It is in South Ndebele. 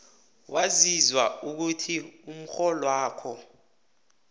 waziswa ukuthi umrholwakho